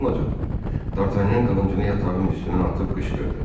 Dartanyan qılıncını yatağın üstünə atıb qışqırdı.